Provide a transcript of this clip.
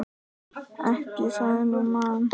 Ekki það hún man.